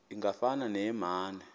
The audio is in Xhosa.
ingafana neye mane